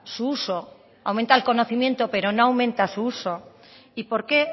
su uso aumenta el conocimiento pero no aumenta su uso y por qué